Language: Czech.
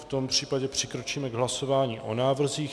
V tom případě přikročíme k hlasování o návrzích.